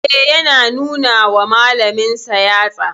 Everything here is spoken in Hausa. E, yana nuna wa malaminsa yatsa.